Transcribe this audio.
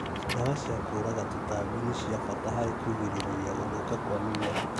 Ndawa cia kũraga tũtambi nĩ cia bata harĩ kũgĩrĩrĩria gũthũka kwa mĩmera